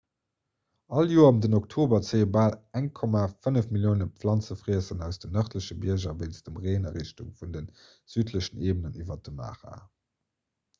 all joer ëm den oktober zéie bal 1,5 millioune planzefriesser aus den nërdleche bierger wéinst dem reen a richtung vun de südlechen eebenen iwwer de mara